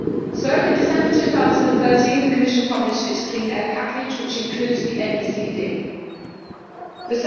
So, in December 2013, the Commission published its clean air package, which includes the NEC Directive.